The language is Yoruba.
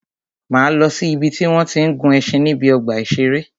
Máa lọ si ìbi tí wọ́n tí ń gun ẹṣin níbi ọgbà ìṣẹ̀rẹ́.